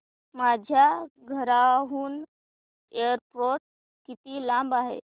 माझ्या घराहून एअरपोर्ट किती लांब आहे